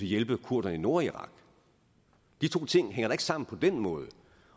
hjælpe kurderne i nordirak de to ting hænger da ikke sammen på den måde